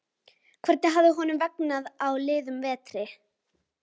Hvernig hafði honum vegnað á liðnum vetri?